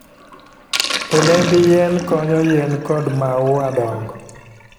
Olemb yien konyo yien kod maua dongo.